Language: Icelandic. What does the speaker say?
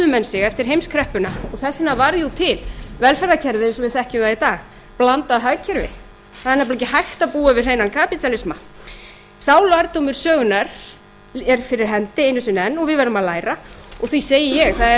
menn sig eftir heimskreppuna og þess vegna varð jú til velferðarkerfið eins og við þekkjum það í dag og blandað hagkerfi það er nefnilega ekki hægt að búa við hreinan kapítalisma sá lærdómur sögunnar er fyrir hendi einu sinni enn og við verðum að læra og því segi ég það er